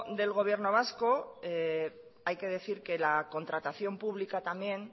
del gobierno vasco hay que decir que la contratación pública también